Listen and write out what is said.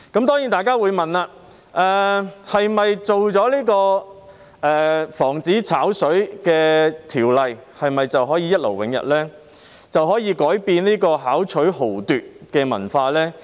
當然，大家會問，是否推出防止"炒水"的法例便可以一勞永逸，可以改變這個巧取豪奪的文化呢？